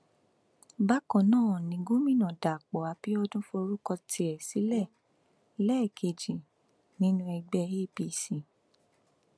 bákan náà ni gomina dapò abiodun forúkọ tiẹ sílẹ lẹẹkejì nínú ẹgbẹ apc